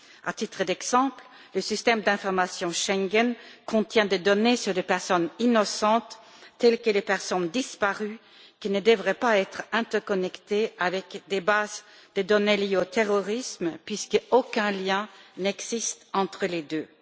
À titre d'exemple, le système d'information Schengen contient des données sur des personnes innocentes, telles que les personnes disparues, qui ne devraient pas être interconnectées avec des bases de données liées au terrorisme, puisqu'aucun lien n'existe entre les deux.